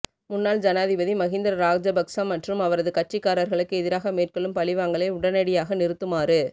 முன்னாள் ஜனாதிபதி மகிந்த ராஜபக்ச மற்றும் அவரது கட்சிகாரர்களுக்கு எதிராக மேற்கொள்ளும் பழிவாங்கலை உடனடியாக நிறுத்துமாறு